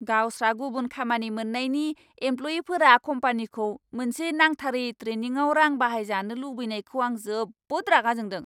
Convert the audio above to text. गावस्रा गुबुन खामानि मोन्नायनि एमप्ल'यिफोरा कम्पानिखौ मोनसे नांथारै ट्रेनिंआव रां बाहायजानो लुबैनायखौ आं जोबोद रागा जोंदों।